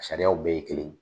Sariyaw bɛɛ ye kelen ye.